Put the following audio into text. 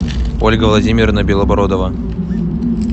ольга владимировна белобородова